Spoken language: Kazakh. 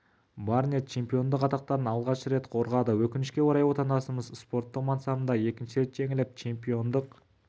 барнетт чемпиондық атақтарын алғаш рет қорғады өкінішке орай отандасымыз спорттық мансабында екінші рет жеңіліп чемпиондық